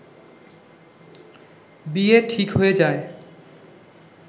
বিয়ে ঠিক হয়ে যায়